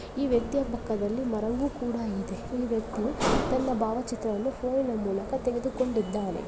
ಈ ವ್ಯಕ್ತಿಯ ಪಕ್ಕದಲ್ಲಿ ಮರವು ಕೂಡ ಇದೆ ಈ ವ್ಯಕ್ತಿಯು ತನ್ನ ಭಾವಚಿತ್ರವನ್ನು ಫೋನಿನ ಮೂಲಕ ತೆಗೆದುಕೊಂಡಿದ್ದಾನೆ.